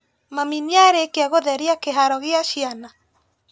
Mami nĩarĩkia gũtheria kĩharo gia ciana?